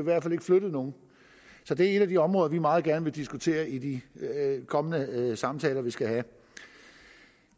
i hvert fald ikke flyttet nogen så det er et af de områder vi meget gerne vil diskutere i de kommende samtaler vi skal have